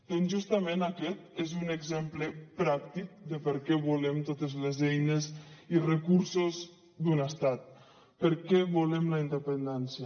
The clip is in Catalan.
doncs justament aquest és un exemple pràctic de per què volem totes les eines i recursos d’un estat per què volem la independència